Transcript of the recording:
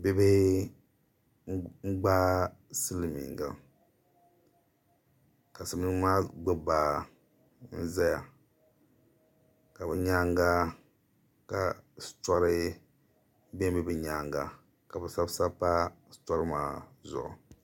Bia bihi n gbaai silmiinga ka silmiingi maa gbubi ba n ʒɛya ka bi nyaanga ka shitɔri bɛ bi nyaanga ka bi sabi sabi pa shitɔri maa zuɣu